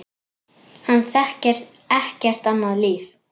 Hann þekkir ekkert annað líf.